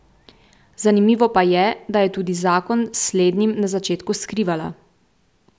Zanimivo pa je, da je tudi zakon s slednjim na začetku skrivala.